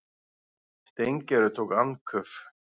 Steingerður tók andköf.